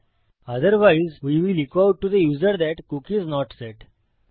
otherwise we will echo out to the user that cookie is not set